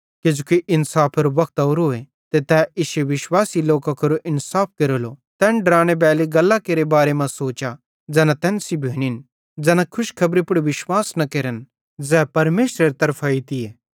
किजोकि इन्साफेरो वक्त ओरोए ते तै इश्शो विश्वासी लोकां केरो इन्साफ पेइलो केरेलो तैन डरानेबैली गल्लां केरे बारे मां सोचा ज़ैना तैन सेइं भोनिन ज़ैना खुशखेबरी पुड़ विश्वास न केरन ज़ै परमेशरेरे तरफां एइतीए